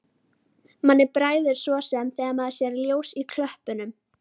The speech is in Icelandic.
Manni bregður svo sem þegar maður sér ljós í klöppunum.